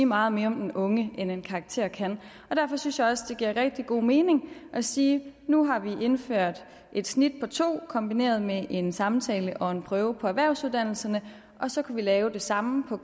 meget mere om den unge end en karakter kan derfor synes jeg også det giver rigtig god mening at sige at nu har vi indført et snit på to kombineret med en samtale og en prøve på erhvervsuddannelserne og så kan vi lave det samme på